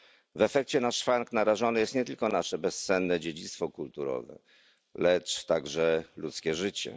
W efekcie na szwank narażone jest nie tylko nasze bezcenne dziedzictwo kulturowe, lecz także ludzkie życie.